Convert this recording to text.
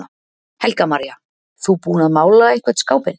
Helga María: Þú búinn að mála einhvern skápinn?